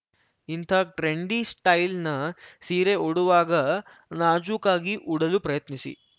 ಇಂಥ ಟ್ರೆಂಡಿ ಸ್ಟೈಲ್‌ನ ಸೀರೆ ಉಡುವಾಗ ನಾಜೂಕಾಗಿ ಉಡಲು ಪ್ರಯತ್ನಿಸಿ